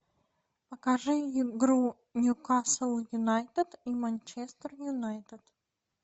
покажи игру ньюкасл юнайтед и манчестер юнайтед